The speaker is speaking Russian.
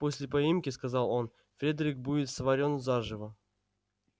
после поимки сказал он фредерик будет сварён заживо